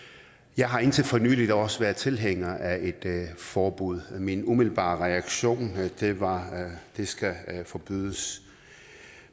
jeg har indtil for nylig også været tilhænger af et forbud min umiddelbare reaktion var at det skal forbydes